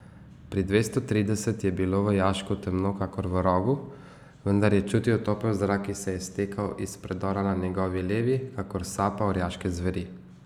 Pri dvesto trideset je bilo v jašku temno kakor v rogu, vendar je čutil topel zrak, ki se je stekal iz predora na njegovi levi kakor sapa orjaške zveri.